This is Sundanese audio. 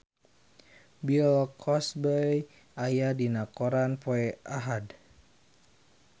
Bill Cosby aya dina koran poe Ahad